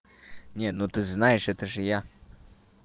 нет ну ты знаешь это же я